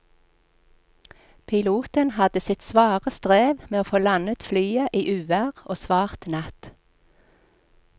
Piloten hadde sitt svare strev med å få landet flyet i uvær og svart natt.